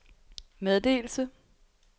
meddelelse